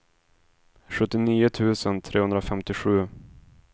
sjuttionio tusen trehundrafemtiosju